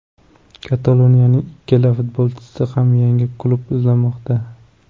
Kataloniyaliklar ikkala futbolchiga ham yangi klub izlamoqda.